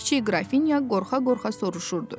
Kiçik qrafinya qorxa-qorxa soruşurdu.